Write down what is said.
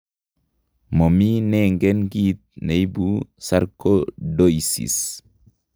Momi nengen kiit neibu sarcoidosis